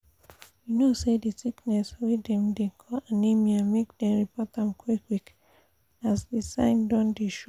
you no say this sickness wey dem dey call anemia make dem report am qik qik as the sign don dey show